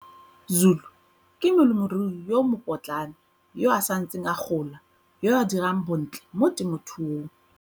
Zulu ke molemirui yo mo potlana yo a santseng a gola yo a dirang bontle mo temothuong.